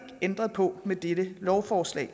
ændret på med dette lovforslag